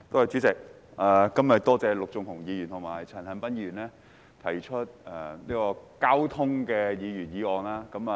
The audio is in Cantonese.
主席，多謝陸頌雄議員和陳恒鑌議員今天分別提出有關交通的議案和修正案。